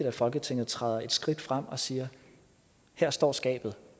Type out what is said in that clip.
at folketinget træder et skridt frem og siger her står skabet